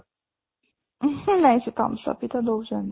ଉଁହୁଁ ନାଇଁ ସେ thumbs up ବି ତ ଦଉଛନ୍ତି